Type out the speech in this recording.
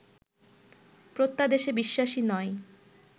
প্রত্যাদেশে বিশ্বাসী নয়